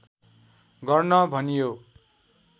गर्न भनियो